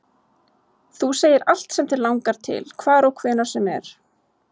Þú segir allt sem þig langar til, hvar og hvenær sem er